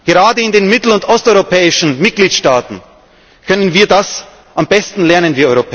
Gerade in den mittel und osteuropäischen Mitgliedstaaten können wir Europäer das am besten lernen.